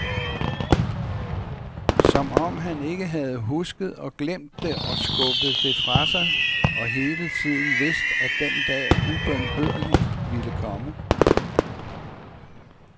Som om han ikke havde husket og glemt det og skubbet det fra sig og hele tiden vidst at den dag ubønhørligt ville komme.